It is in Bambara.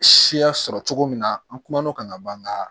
Siya sɔrɔ cogo min na an kumana o kan ka ban ka